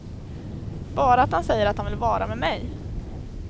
Bara att han säger att han vill vara med mig.